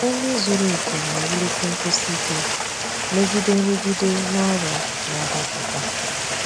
Nri zuru oke na-ewulite nkwụsi ike megide nrụgide na ọrịa na-adapụta.